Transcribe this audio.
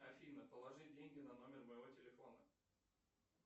афина положи деньги на номер моего телефона